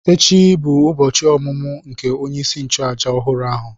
Echi bụ ụbọchị ọmụmụ nke onye isi nchụàjà ọhụrụ ahụ.